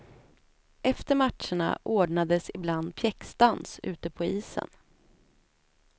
Efter matcherna ordnades ibland pjäxdans ute på isen.